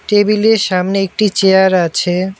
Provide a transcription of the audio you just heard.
টেবিলের সামনে একটি চেয়ার আছে।